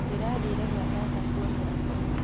Ndĩrathire gwa tata kũonera kuo